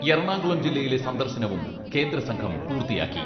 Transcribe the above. എറണാകുളം ജില്ലയിലെ സന്ദർശനവും കേന്ദ്രസംഘം പൂർത്തിയാക്കി.